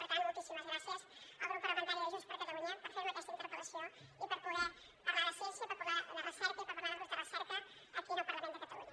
per tant moltíssimes gràcies al grup parlamentari de junts per catalunya per fer me aquesta interpel·lació i per poder parlar de ciència parlar de recerca i parlar de grups de recerca aquí al parlament de catalunya